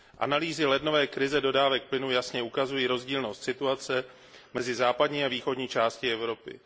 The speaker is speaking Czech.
Analýzy lednové krize dodávek plynu jasně ukazují rozdílnost situace mezi západní a východní částí Evropy.